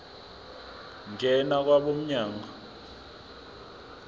ngena kwabo mnyango